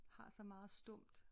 Har så meget stumt